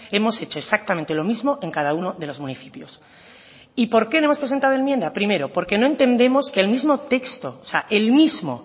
hemos hecho exactamente lo mismo en cada uno de los municipios y por qué no hemos presentado enmienda primero porque no entendemos que el mismo texto el mismo